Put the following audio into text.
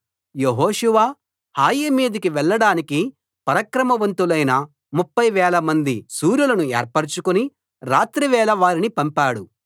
యెహోషువ హాయి మీదికి వెళ్ళడానికి పరాక్రమవంతులైన ముప్ఫై వేల మంది శూరులను ఏర్పరచుకుని రాత్రివేళ వారిని పంపాడు